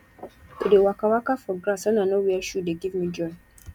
to dey waka waka for grass wen i no wear shoe dey give me joy